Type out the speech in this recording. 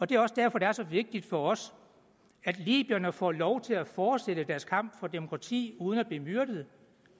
det er også derfor det er så vigtigt for os at libyerne får lov til at fortsætte deres kamp for demokrati uden at blive myrdet